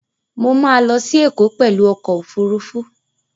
Mo ma lọ sí Ẹ̀kọ́ pẹ̀lú ọkọ̀ Òfurufú